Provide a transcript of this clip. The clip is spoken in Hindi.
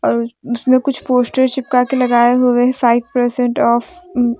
और इसमें कुछ पोस्टर चिपका के लगाए हुए फाइव परसेंट ऑफ़ ।